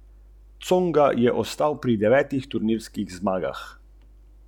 Njegova velikost je bila primerna za posestvo, ki je nekoč merilo več kot tisoč hektarov.